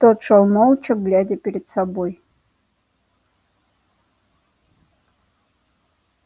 тот шёл молча глядя перед собой